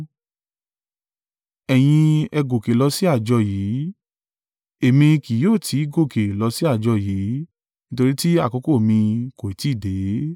Ẹ̀yin ẹ gòkè lọ sí àjọ yìí, èmi kì yóò tí ì gòkè lọ sí àjọ yìí; nítorí tí àkókò mi kò ì tí ì dé.”